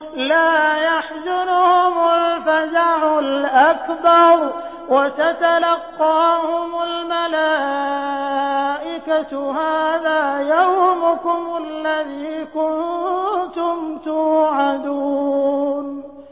لَا يَحْزُنُهُمُ الْفَزَعُ الْأَكْبَرُ وَتَتَلَقَّاهُمُ الْمَلَائِكَةُ هَٰذَا يَوْمُكُمُ الَّذِي كُنتُمْ تُوعَدُونَ